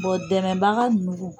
dɛmɛbaga nugu.